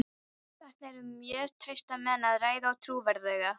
Þarna er um mjög trausta menn að ræða og trúverðuga.